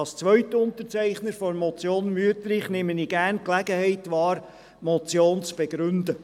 Als Zweitunterzeichner der Motion Wüthrich nehme ich gerne die Gelegenheit wahr, die Motion zu begründen.